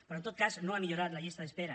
però en tot cas no ha millorat la llistes d’espera